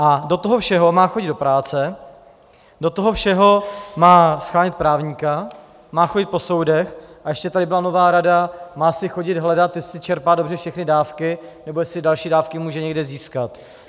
A do toho všeho má chodit do práce, do toho všeho má shánět právníka, má chodit po soudech, a ještě tady byla nová rada, má si chodit hledat, jestli čerpá dobře všechny dávky, nebo jestli další dávky může někde získat.